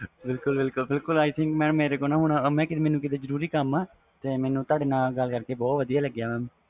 ਬਿਲਕੁਲ ਬਿਲਕੁਲ ਬਿਲਕੁਲ i think mam ਮੈਨੂੰ ਮੇਰੇ ਕੋ ਨਾ ਜਰੂਰੀ ਕਮ ਆ ਮੈਨੂੰ ਤੁਹਾਡੇ ਨਾਲ ਗੱਲ ਕਰਕੇ ਬਹੁਤ ਵਧੀਆ ਲੱਗਿਆਂ man